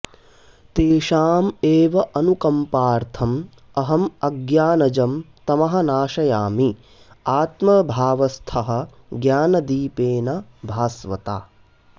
तेषाम् एव अनुकम्पार्थम् अहम् अज्ञानजं तमः नाशयामि आत्मभावस्थः ज्ञानदीपेन भास्वता